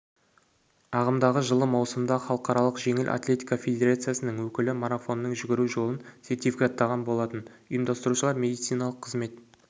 ағымдағы жылы маусымда халықаралық жеңіл атлетика федерациясының өкілі марафонның жүгіру жолын сертификаттаған болатын ұйымдастырушылар медициналық қызмет